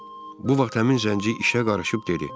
Bu vaxt həmin zənci işə qarışıb dedi.